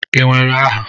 Ị nwere aha?